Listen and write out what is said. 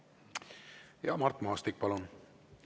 Mart Maastik, palun!